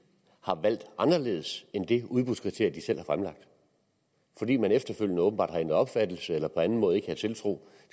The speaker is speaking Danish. har valgt anderledes end det udbudskriterie de selv har fremlagt fordi man efterfølgende åbenbart har ændret opfattelse eller på anden måde ikke havde tiltro